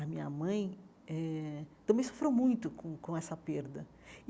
A minha mãe eh também sofreu muito com com essa perda.